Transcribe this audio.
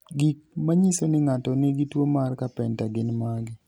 Gik manyiso ni ng'ato nigi tuwo mar Carpenter gin mage?